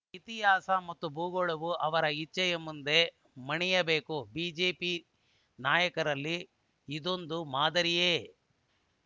ಇತಿಹಾಸ ಮತ್ತು ಭೂಗೋಳವು ಅವರ ಇಚ್ಛೆಯ ಮುಂದೆ ಮಣಿಯಬೇಕು ಬಿಜೆಪಿ ನಾಯಕರಲ್ಲಿ ಇದೊಂದು ಮಾದರಿಯೆ